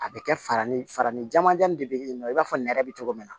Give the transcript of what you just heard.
A bɛ kɛ fara ni farafin ɲaman de bɛ ye nɔ i b'a fɔ nɛrɛ bɛ cogo min na